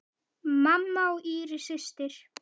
Mamma og Íris systir.